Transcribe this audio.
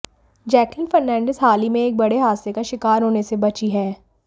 Jacqueline Fernandez हाल ही में एक बड़े हादसे का शिकार होने से बची हैं